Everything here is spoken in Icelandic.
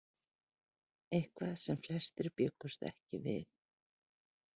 Eitthvað sem flestir bjuggust ekki við